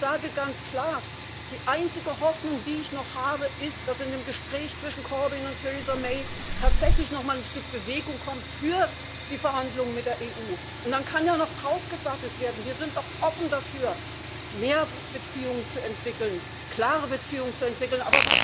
Ich sage ganz klar Die einzige Hoffnung, die ich noch habe, ist, dass in dem Gespräch zwischen Corbyn und Theresa May tatsächlich nochmal ein Stück Bewegung in die Verhandlungen mit der EU kommt, und dann kann ja noch draufgesattelt werden. Wir sind doch offen dafür, mehr Beziehungen zu entwickeln, klare Beziehungen zu entwickeln.